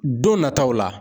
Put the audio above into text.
Don nataw la.